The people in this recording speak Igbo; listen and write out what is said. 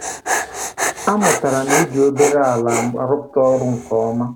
A mụtara m iji obere ala arụpụta ọrụ nke ọma